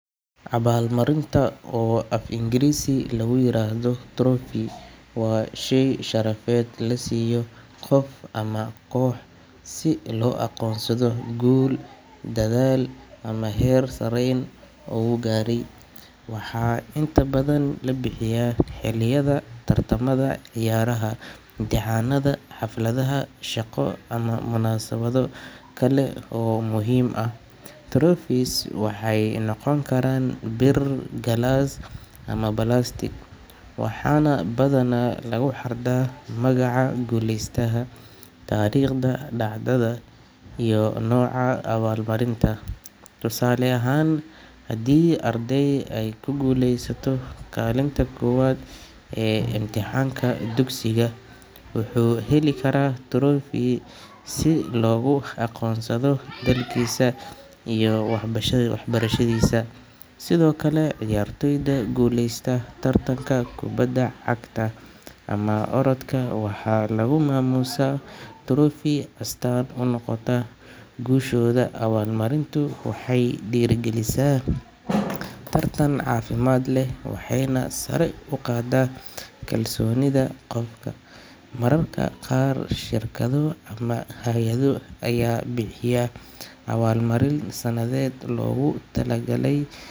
Abaalmarinta, oo af Ingiriisi lagu yiraahdo trophy, waa shay sharafeed la siiyo qof ama koox si loogu aqoonsado guul, dadaal ama heer sareyn uu gaaray. Waxaa inta badan la bixiyaa xilliyada tartamada ciyaaraha, imtixaanada, xafladaha shaqo ama munaasabado kale oo muhiim ah. Trophies waxay noqon karaan bir, galaas ama balaastiig, waxaana badanaa lagu xardhaa magaca guuleystaha, taariikhda dhacdada iyo nooca abaalmarinta. Tusaale ahaan, haddii arday ay ku guuleysto kaalinta koowaad ee imtixaanka dugsiga, wuxuu heli karaa trophy si loogu aqoonsado dadaalkiisa iyo waxbarashadiisa. Sidoo kale, ciyaartoyda guuleysta tartanka kubadda cagta ama orodka, waxaa lagu maamuusaa trophy oo astaan u noqota guushooda. Abaalmarintu waxay dhiirrigelisaa tartan caafimaad leh, waxayna sare u qaaddaa kalsoonida qofka. Mararka qaar, shirkado ama hay’ado ayaa bixiya abaalmarin sanadeed loogu tala.